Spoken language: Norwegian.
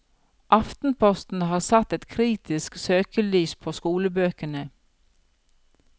Aftenposten har satt et kritisk søkelys på skolebøkene.